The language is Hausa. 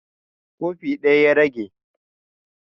Kofi ɗaya ya rage